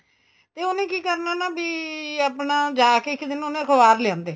ਤੇ ਉਹਨੇ ਕੀ ਕਰਨਾ ਨਾ ਬੀ ਆਪਣਾ ਜਾ ਕੇ ਇੱਕ ਦਿਨ ਉਹਨੇ ਅਖਬਾਰ ਲਿਆਂਦੇ